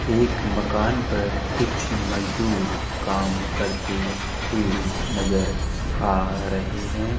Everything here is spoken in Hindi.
एक मकान पर कुछ मजदूर काम करते हुए नजर आ रहे हैं।